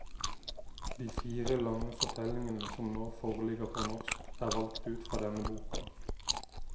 De fire lange fortellingene som nå foreligger på norsk, er valgt ut fra denne boka.